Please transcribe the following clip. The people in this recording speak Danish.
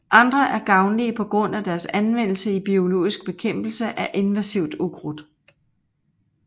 Andre er gavnlige på grund af deres anvendelse i biologisk bekæmpelse af invasivt ukrudt